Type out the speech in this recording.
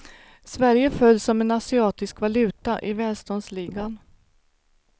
Sverige föll som en asiatisk valuta i välståndsligan.